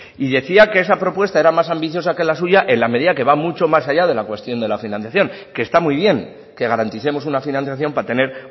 y decía que esta propuesta era más ambiciosa que la suya en la medida que va mucho más allá de la cuestión de la financiación que está muy bien que garanticemos una financiación para tener